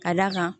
Ka d'a kan